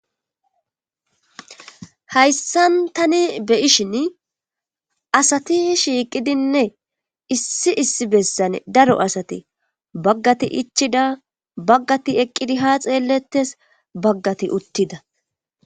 hayssan tani beyishin asati shiiqidinne issi issi bessan daro asati baggati ichida baggati eqqidi ha xeellettes baggati uttida